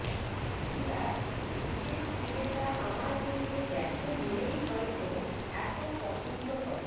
বিরাট নিজের খিদেটা আমার মধ্যে দেখে বলেই হয়তো এত পছন্দ করে